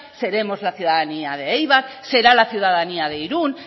seremos la ciudadanía de eibar será la ciudadanía de irun